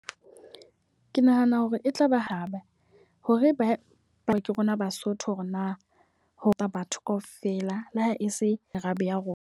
Ke nahana hore e tlaba haba hore ba ba ke rona Basotho hore na ho ka batho ka ofela le ha e se arabe ya rona.